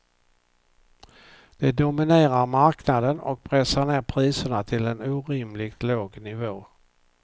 De dominerar marknaden och pressar ner priserna till en orimligt låg nivå.